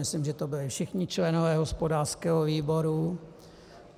Myslím, že to byli všichni členové hospodářského výboru.